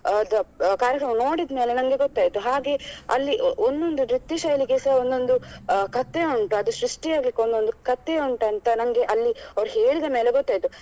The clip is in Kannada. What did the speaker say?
ಅಹ್ ಕಾರ್ಯಕ್ರಮ ನೋಡಿದ್ ಮೇಲೆ ನಂಗೆ ಗೊತ್ತಾಯ್ತು ಹಾಗೆ ಅಲ್ಲಿ ಒಂದು ನೃತ್ಯ ಶೈಲಿಗೆ ಸ ಒಂದೊಂದು ಅಹ್ ಕತೆ ಉಂಟು ಅದು ಸೃಷ್ಟಿ ಆಗ್ಲಿಕ್ಕೆ ಒಂದೊಂದು ಕಥೆ ಉಂಟಂತ ನಂಗೆ ಅಲ್ಲಿ ಅವ್ರು ಹೇಳಿದ ಮೇಲೆ ಗೊತ್ತಾಯ್ತು.